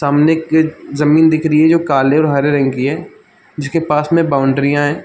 सामने एक जमीन दिख रही हैं जो काले और हरे रंग की हैं जिसके पास में बाउंड्रिया हैं।